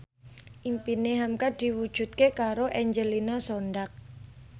impine hamka diwujudke karo Angelina Sondakh